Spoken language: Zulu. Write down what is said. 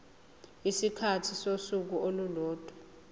isikhathi sosuku olulodwa